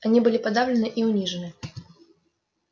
они были подавлены и унижены